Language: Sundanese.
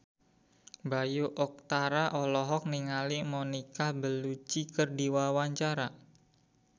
Bayu Octara olohok ningali Monica Belluci keur diwawancara